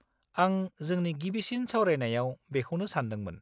आं जोंनि गिबिसिन सावरायनायाव बेखौनो सान्दोंमोन।